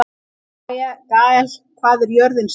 Gael, hvað er jörðin stór?